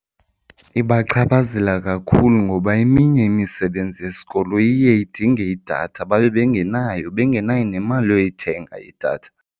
Ibachaphazela kakhulu ngoba eminye imisebenzi yesikolo iye idinge idatha babe bengenayo, bengenayo nemali yoyithenga idatha.